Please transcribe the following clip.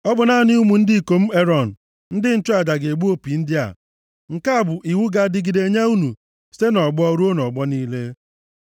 “Ọ bụ naanị ụmụ ndị ikom Erọn, ndị nchụaja ga-egbu opi ndị a. Nke a bụ iwu ga-adịgide nye unu site nʼọgbọ ruo nʼọgbọ niile.